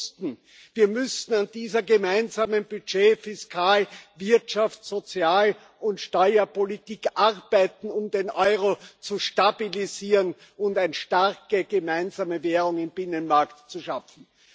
Und wir wussten, wir müssen an dieser gemeinsamen Budget Fiskal Wirtschafts Sozial und Steuerpolitik arbeiten, um den Euro zu stabilisieren und eine starke gemeinsame Währung im Binnenmarkt zu schaffen.